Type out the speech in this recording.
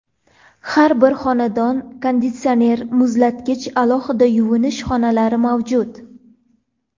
Har bir xonada konditsioner, muzlatgich, alohida yuvinish xonalari mavjud.